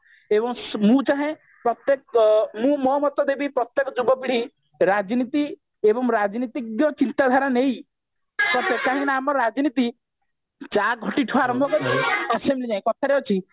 ଏବଂ ମୁଁ ଚାହେଁ ପ୍ରତ୍ଯେକ ଆଁ ମୁଁ ମୋ ମତ ଦେବି ପ୍ରତ୍ଯେକ ଯୁବପିଢି ରାଜନୀତି ଏବଂ ରାଜନୀତିଜ୍ଞ ଚିନ୍ତାଧାରା ନେଇ କାହିଁକି ନା ଆମର ରାଜନୀତି ଚା ଖଟିଠୁ ଆରମ୍ଭ କରି assembly ଯାଏ କଥାରେ ଅଛି